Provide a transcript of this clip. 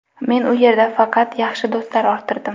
Men u yerda faqat yaxshi do‘stlar orttirdim.